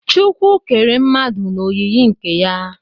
chukwu kere mmadu n'oyiyi nke ya